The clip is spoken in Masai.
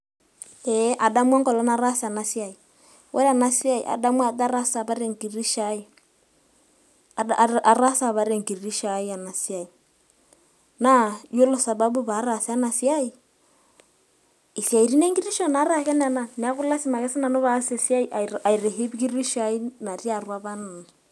ee adamu enkolong' nataasa ena siai. ore ena siai adamu ajo ataasa apa te kitisho ai, ataasa apa te kitisho ai ena siai. naa iyiolo sababu pee ataasa ena siai, isaitin enkitisho naa diii ake nena. neeku lasima ake pee aas siatin ekitisho ai apake.